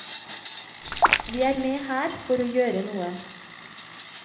Vi er med her for å gjøre noe.